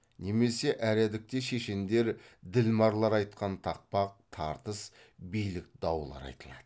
немесе әредікте шешендер ділмарлар айтқан тақпақ тартыс билік даулар айтылады